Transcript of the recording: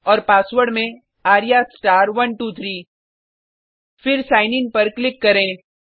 और पासवर्ड में arya123 फिर सिग्न इन पर क्लिक करें